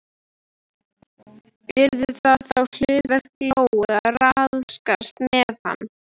Yrði það þá hlutverk Lóu að ráðskast með hana?